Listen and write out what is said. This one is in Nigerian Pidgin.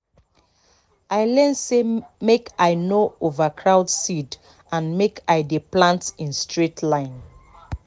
i learn say make i no overcrowd seed and make i dey plant in straight line